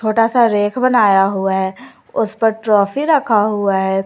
छोटा सा रैक बनाया हुआ है उस पर ट्रॉफी रखा हुआ है।